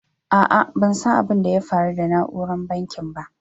A'a ban san abin da ya faru da nauran bankin ba.